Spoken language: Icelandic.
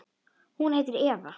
Hún heitir Eva.